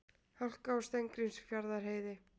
Hálka á Steingrímsfjarðarheiði